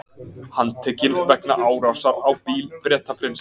Handtekinn vegna árásar á bíl Bretaprins